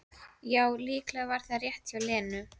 Já, líklega var það rétt hjá Lenu.